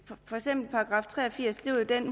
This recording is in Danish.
for eksempel § tre og firs